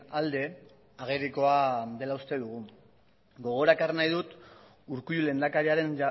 alde agerikoa dela uste dugu gogora ekarri nahi dut urkullu lehendakariaren